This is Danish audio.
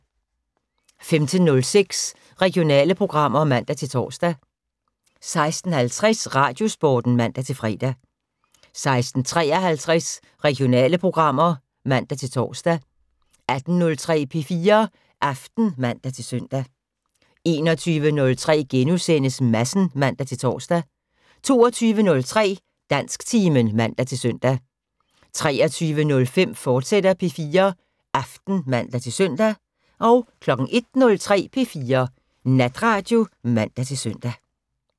15:06: Regionale programmer (man-tor) 16:50: Radiosporten (man-fre) 16:53: Regionale programmer (man-tor) 18:03: P4 Aften (man-søn) 21:03: Madsen *(man-tor) 22:03: Dansktimen (man-søn) 23:05: P4 Aften, fortsat (man-søn) 01:03: P4 Natradio (man-søn)